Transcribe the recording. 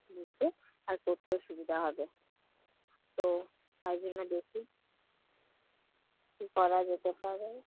বসব আর করতেও সুবিধা হবে। তো তার জন্য দেখি কি করা যেতে পারে।